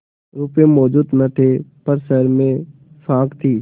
रुपये मौजूद न थे पर शहर में साख थी